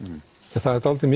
það er dálítið